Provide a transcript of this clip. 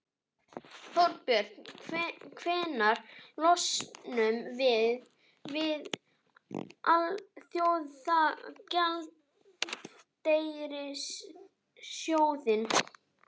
Þorbjörn: Hvenær losnum við við Alþjóðagjaldeyrissjóðinn?